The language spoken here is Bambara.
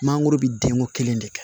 Mangoro bɛ denko kelen de kɛ